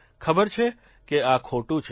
ખબર છે કે આ ખોટું છે